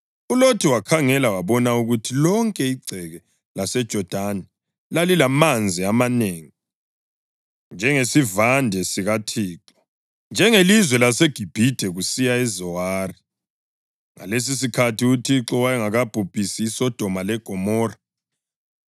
ULothi wakhangela wabona ukuthi lonke igceke laseJodani lalilamanzi amanengi, njengesivande sikaThixo, njengelizwe laseGibhithe kusiya eZowari. (Ngalesisikhathi uThixo wayengakabhubhisi iSodoma leGomora.)